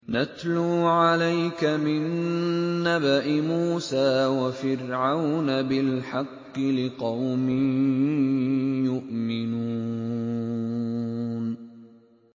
نَتْلُو عَلَيْكَ مِن نَّبَإِ مُوسَىٰ وَفِرْعَوْنَ بِالْحَقِّ لِقَوْمٍ يُؤْمِنُونَ